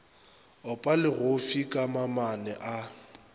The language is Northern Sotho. opa legofsi ka mamane a